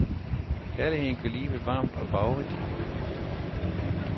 Kærligheden gør livet varmt og farverigt.